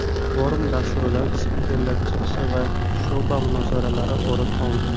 Forum dasturidan spikerlar chiqishi va sho‘’ba munozaralari o‘rin oldi.